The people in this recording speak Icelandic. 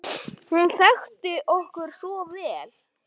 Hún þekkti okkur svo vel.